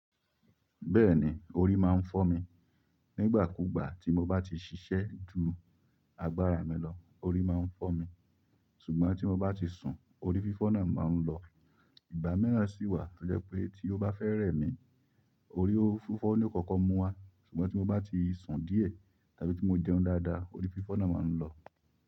Bẹ́ẹ̀ni, orí máa ń fọ́ mi. Nígbà kúgbà tí mo bá ti ṣiṣẹ́ ju agbára mi lọ, orí máa ń fọ́ mi. Ṣùgbọ́n tí mo bá ti sun, orí fífọ́ náà máa ń lọ. Ìgbà miràn sì wà, ó jẹ́ pé tí ó bá fẹ́ rẹ̀ mí, orí fífọ́ ni ó kọ́kọ́ múwa, ṣùgbọ́n tí mo bá ti sun díẹ̀ tàbí tí mo jẹun dáadáa, orí fífọ́ náà máa ń lọ.